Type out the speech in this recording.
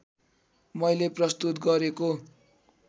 मैले प्रस्तुत गरेको